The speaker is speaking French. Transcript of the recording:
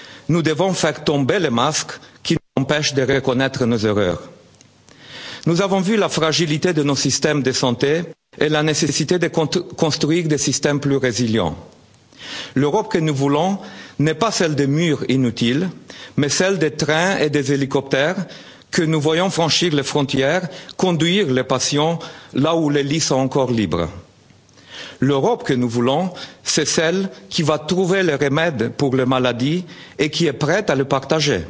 le virus, nous devons faire tomber les masques qui nous empêchent de reconnaître nos erreurs. Nous avons vu la fragilité de nos systèmes de santé et la nécessité de construire des systèmes plus résilients. L'Europe que nous voulons n'est pas celle des murs inutiles mais celle des trains et des hélicoptères que nous voyons franchir les frontières, conduire les patients là où les lits sont encore libres. L'Europe que nous voulons, c'est celle qui va trouver le remède contre la maladie et qui est prête à le